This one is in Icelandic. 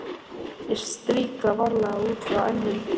Ég strýk það varlega, út frá enninu.